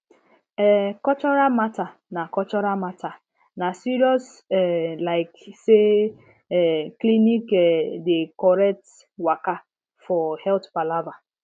eh cultural matter na cultural matter na serious um like say um clinic um dey correct waka for health palava